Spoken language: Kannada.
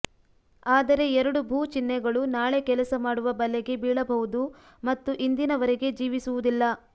ಆದರೆ ಎರಡು ಭೂ ಚಿಹ್ನೆಗಳು ನಾಳೆ ಕೆಲಸ ಮಾಡುವ ಬಲೆಗೆ ಬೀಳಬಹುದು ಮತ್ತು ಇಂದಿನವರೆಗೆ ಜೀವಿಸುವುದಿಲ್ಲ